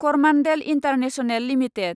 Coromandel international limited